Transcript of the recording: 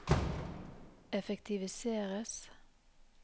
effektiviseres